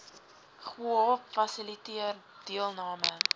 ggowp fasiliteer deelname